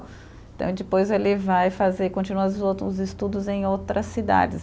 Então, depois ele vai fazer continuar os outros estudos em outras cidades.